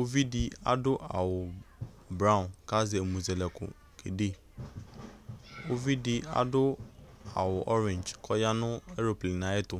Uvi dɩ adʋ awʋbraɔn kʋ azɛ ɛmʋzɛlɛkʋ kede Uvi dɩ adʋ awʋ ɔrɛndz kʋ ɔya nʋ eroplen yɛ ayɛtʋ